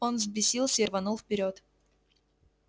он взбесился и рванул вперёд